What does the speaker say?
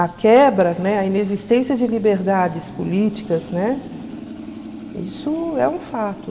A quebra, né, a inexistência de liberdades políticas, né, isso é um fato.